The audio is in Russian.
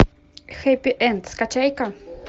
хэппи энд скачай ка